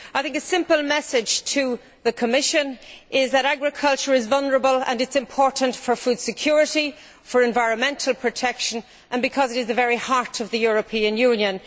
A simple message to the Commission is that agriculture is vulnerable and it is important for food security, for environmental protection and because it is the very heart of the European Union.